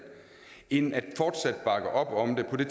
end at bakke op om det på det